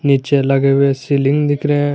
नीचे लगे हुए सीलिंग दिख रहे हैं।